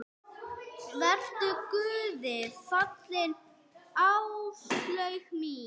Vertu Guði falin, Áslaug mín.